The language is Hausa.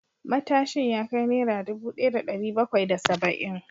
Matashin ya kai Naira dubu daya da dari bakwai da saba’in